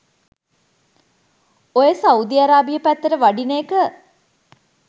ඔය Saudi Arabia පැත්තට වඩින එක